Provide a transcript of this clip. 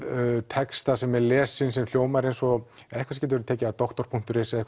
texta sem er lesinn sem hljómar eins og eitthvað sem getur tekið af doktor punktur is eða